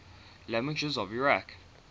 languages of iraq